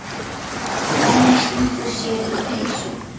Svenni stingur sér í peysu.